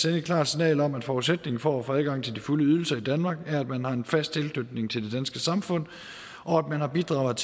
et klart signal om at forudsætningen for at få adgang til de fulde ydelser i danmark er at man har en fast tilknytning til det danske samfund og at man har bidraget